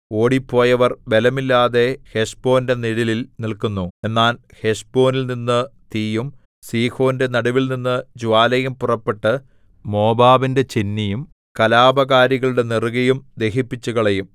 ഓടിപ്പോയവർ ബലമില്ലാതെ ഹെശ്ബോന്റെ നിഴലിൽ നില്ക്കുന്നു എന്നാൽ ഹെശ്ബോനിൽനിന്നു തീയും സീഹോന്റെ നടുവിൽനിന്നു ജ്വാലയും പുറപ്പെട്ട് മോവാബിന്റെ ചെന്നിയും കലാപകാരികളുടെ നെറുകയും ദഹിപ്പിച്ചുകളയും